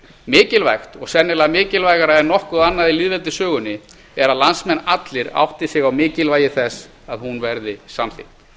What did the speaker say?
mikilvægt og sennilega mikilvægara en nokkuð annað í lýðveldissögunni er að landsmenn allir átti sig á mikilvægi þess að hún verði samþykkt